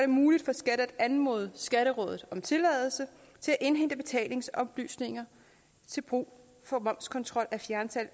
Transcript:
muligt for skat at anmode skatterådet om tilladelse til at indhente betalingsoplysninger til brug for momskontrol af fjernsalg